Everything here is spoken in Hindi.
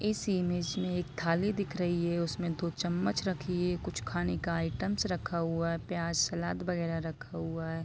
इस इमेज मे एक थाली दिख रही है उसमे दो चमच रखी है कुछ खाने का आइटम्स रखा हुआ है प्याज सलाद वगैरा रखा हुआ है।